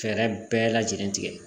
Fɛɛrɛ bɛɛ lajɛlen tigɛ